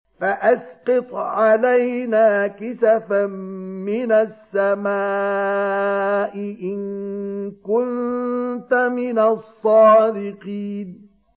فَأَسْقِطْ عَلَيْنَا كِسَفًا مِّنَ السَّمَاءِ إِن كُنتَ مِنَ الصَّادِقِينَ